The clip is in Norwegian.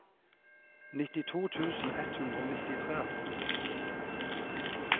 nittito tusen ett hundre og nittitre